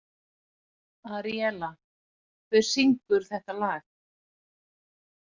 Aríela, hver syngur þetta lag?